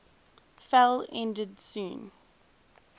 fell ended soon